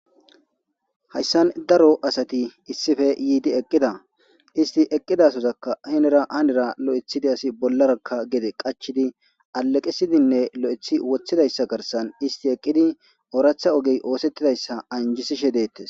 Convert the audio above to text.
Hayssan daro asati issife yiidi eqqida isti eqqidasozaka hinera anira lo7ethidi asi bollarakka gede qachidi aleqesidinne lo7ethi wothidayssa garsan isti eqqidi ooratha ogey oosettidayssa anjisishe deettes.